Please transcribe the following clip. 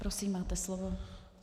Prosím, máte slovo.